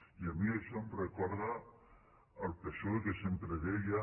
i a mi això em recorda el psoe que sempre deia